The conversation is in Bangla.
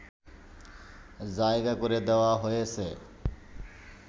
জায়গা করে দেয়া হয়েছে